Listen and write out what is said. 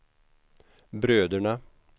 bröderna